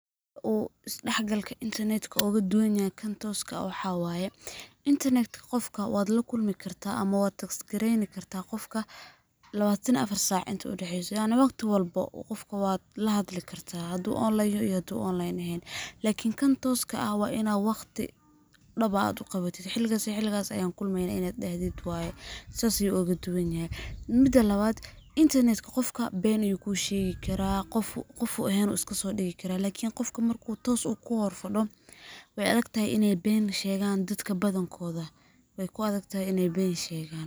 Uu is-shaxgalka intarnet ka kan tooska ah ugu duwan yahay waxaa waye ,internet ka qofka waa la kulmi kartaa ama waad text gareyni kartaa qofka ,lawatan iyo affar saac inta u dhaxeyso yacni waqti walbo qofka waad la hadli kartaa haduu online yaho iyo haduu online eheen. Lakin kan tooska aha waa inaad waqti dhab ah aad u qawatid xiligaas iyo xiligaas ayaan kulmeynaa inaad dhahdid waye ,saas ayuu oga duwan yahay. Midda labaad internet ka qofka been ayuu kuu shegi karaa ,ee qof uu eheen ayuu iskasoo dhigi karaa lakin marka uu qofka toos kuu hor fadho weey adagteh in ay been shegaan dadka badankooda ,wey ku adag tahay iney been shegaan.